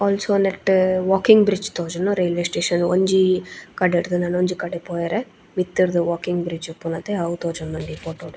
Also ನೆಟ್ಟ್ walking bridge ತೋಜುಂಡು railway station ಒಂಜಿ ಕಡೆಡ್ದ್ ನನೊಂಜಿ ಕಡೆ ಪೋವರ ಮಿತ್ತುರ್ದ್ ವಾಕಿಂಗ್ ಬ್ರಿಡ್ಜ್ ಇಪ್ಪುಂಡತೆ ಅವು ತೋಜೊಂದುಂಡು ಈ ಫೋಟೊ ಡ್ .